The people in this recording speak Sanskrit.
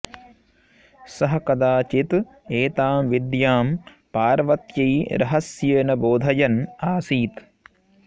सः कदाचित् एतां विद्यां पार्वत्यै रहस्येन बोधयन् आसीत्